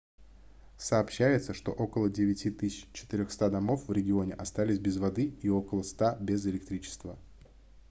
сообщается что около 9400 домов в регионе остались без воды и около 100 без электричества